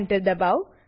enter દબાઓ